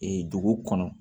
Ee dugu kɔnɔ